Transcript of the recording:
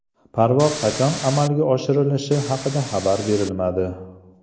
Parvoz qachon amalga oshirilishi haqida xabar berilmadi.